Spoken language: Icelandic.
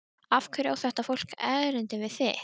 Af hverju á þetta fólk erindi við þig?